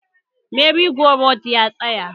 Merry-go-round ya tsaya